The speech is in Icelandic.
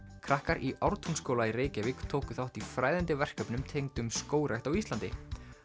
krakkar í Ártúnsskóla í Reykjavík tóku þátt í fræðandi verkefnum tengdum skógrækt á Íslandi